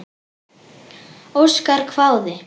Óskar hváði.